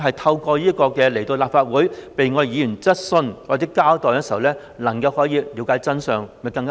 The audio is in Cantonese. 透過請專家來立法會解答議員的質詢和作出交代，讓市民大眾了解真相，會否更好？